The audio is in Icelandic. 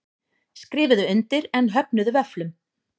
Skrifuðu undir en höfnuðu vöfflum